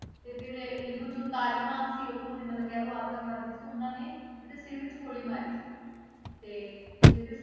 ਤੇ ਫਿਰ ਇਹਨੂੰ ਜੋ ਤਾਲੀਬਾਨ ਸੀ ਉੱਥੋਂ ਦੇ ਮਤਲਬ ਕਹਿ ਲਓ ਆਤੰਕਵਾਦੀ ਸੀ ਉਹਨਾਂ ਨੇ ਇਹਦੇ ਸਿਰ ਵਿੱਚ ਗੋਲੀ ਮਾਰੀ ਸੀ, ਤੇ ਇਹਦੇ